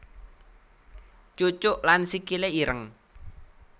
Cucuk lan Sikile ireng